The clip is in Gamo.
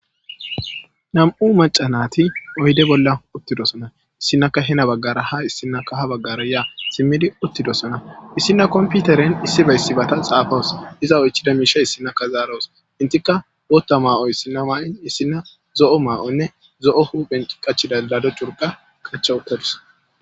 Nam'u macanati oyidde bolla uttidosona. Issinaka hin baggara ha issinaka ha baggara yaa simmidi uttidosona. Issina komputeren issibeyssi bata xaafawus iza oychida miisha issinaka zaaroos. Etika booththa maayo issinna maayin issina zo'o maayonne zo'o huphphen qachida daro curqa qacha wuttodus.